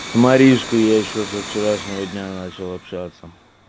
с маришкой я ещё со вчерашнего дня начал общаться